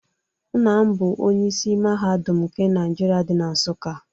Nna m bụ Onye isi Mahadum nke Nigeria dị na Nsuka.